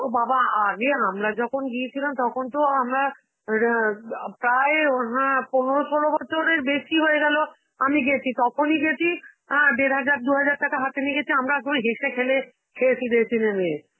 ও বাবা! আগে আমরা যখন গিয়েছিলাম, তখনতো আমরা এর উম প্রায় আহ পনেরো ষোলো বছরের বেশি হয়ে গেল আমি গেছি, তখনই গেছে অ্যাঁ দেড় হাজার, দু’হাজার টাকা হাতে নিয়ে গেছি, আমরা একদম হেসে খেলে খেয়েছি দিয়েছি